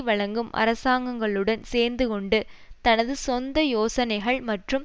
வழங்கும் அரசாங்கங்களுடன் சேர்ந்துகொண்டு தனது சொந்த யோசனைகள் மற்றும்